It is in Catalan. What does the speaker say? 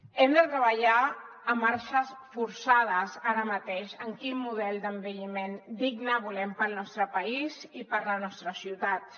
hem de treballar a marxes forçades ara mateix en quin model d’envelliment digne volem pel nostre país i per les nostres ciutats